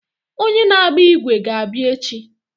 Onye na-agba ígwè ga-abịa echi.